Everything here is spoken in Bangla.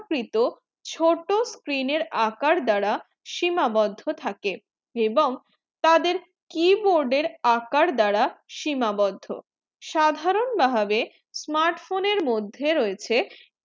কৃত ছোট screen এর আকার দ্বারা শিমা বোধ থাকে এবং তাদের keyboard এর আকার দ্বারা শিমা বোধ সাধারণ ভাবে smart phone এর মধ্যে রয়েছে